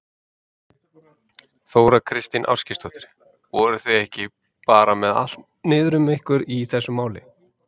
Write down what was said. Þóra Kristín Ásgeirsdóttir: Voruð þið ekki bara með allt niður um ykkur í þessu máli?